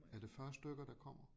Er det 40 stykker der kommer?